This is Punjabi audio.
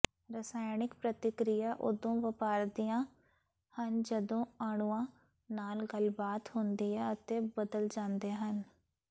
ਰਸਾਇਣਕ ਪ੍ਰਤੀਕ੍ਰਿਆ ਉਦੋਂ ਵਾਪਰਦੀਆਂ ਹਨ ਜਦੋਂ ਅਣੂਆਂ ਨਾਲ ਗੱਲਬਾਤ ਹੁੰਦੀ ਹੈ ਅਤੇ ਬਦਲ ਜਾਂਦੇ ਹਨ